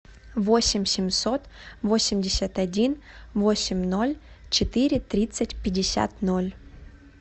восемь семьсот восемьдесят один восемь ноль четыре тридцать пятьдесят ноль